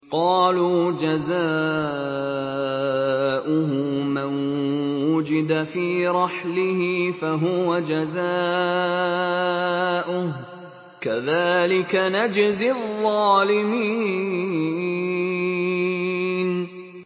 قَالُوا جَزَاؤُهُ مَن وُجِدَ فِي رَحْلِهِ فَهُوَ جَزَاؤُهُ ۚ كَذَٰلِكَ نَجْزِي الظَّالِمِينَ